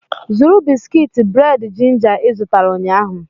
Zụrụ bisikiiti bred ginger ị zụtara ụnyahụ!